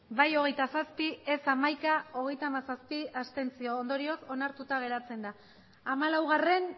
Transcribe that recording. bai hogeita zazpi ez hamaika abstentzioak hogeita hamazazpi ondorioz onartuta geratzen da hamalaugarrena